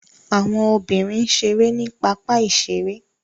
Àwọn obìnrin ṣeré ní pápá-ìṣeré.